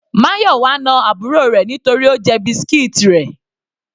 Mayowa na àbúrò rẹ̀ nítorí Ó jẹ biscuits rẹ̀.